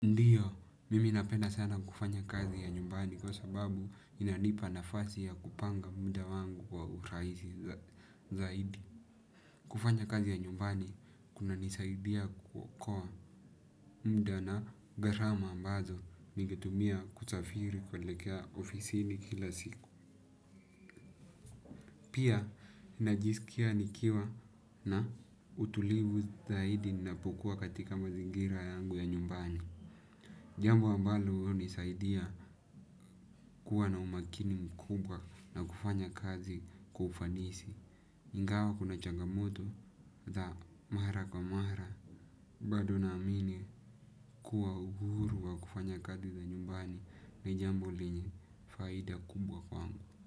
Ndiyo, mimi napenda sana kufanya kazi ya nyumbani kwa sababu inanipa nafasi ya kupanga muda wangu wa urahisi zaidi. Kufanya kazi ya nyumbani, kunanisaidia kuokoa muda na gharama ambazo ningetumia kusafiri kuelekea ofisini kila siku. Pia, ninajisikia nikiwa na utulivu zaidi napokuwa katika mazingira yangu ya nyumbani. Jambo ambalo hunisaidia kuwa na umakini mkubwa na kufanya kazi kwa ufanisi. Ingawa kuna changamoto za mara kwa mara. Bado naamini kuwa uhuru wa kufanya kazi za nyumbani ni jambo lenye faida kubwa kwangu.